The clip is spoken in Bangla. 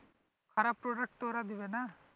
খারাপ product তো ওরা দেবে না